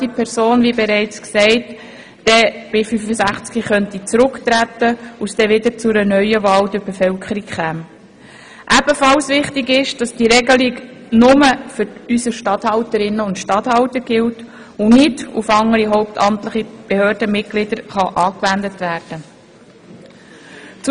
Wichtig ist dabei, dass diese Regelung nur für die Regierungsstatthalterinnen und Regierungsstatthalter gilt, und nicht auf andere hauptamtliche Behördenmitglieder angewendet werden kann.